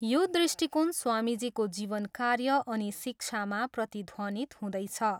यो दृष्टिकोण स्वामीजीको जीवन कार्य अनि शिक्षामा प्रतिध्वनित हुँदैछ।